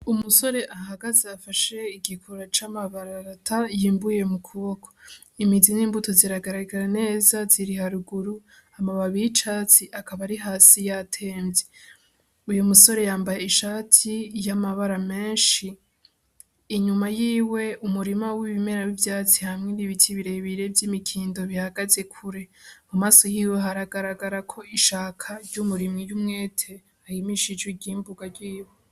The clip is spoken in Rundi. Umusore ahagaze afashe igikura c'amabararata yimbuye mu kuboko, imizi n'imbuto ziragaragara neza ziri haruguru amababi y'icatsi akaba arihasi yatemvye, uyu musore yambaye ishati y'amabara menshi, inyuma yiwe umurima w'ibimera w'ivyatsi hamwe n'ibiti birebire vy'imikindo bihagaze kure mu maso yiwe haragaragarako ishaka ry'umurimyi w'umwete arimishije iryimbugwa ryiwe.